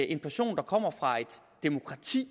en person der kommer fra et demokrati